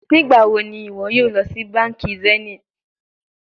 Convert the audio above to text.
Nigbawo ni iwọ yoo lọ si banki zenith?